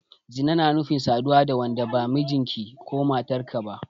Zina na nufin saduwa da wanda ba mijinka/matarka ba.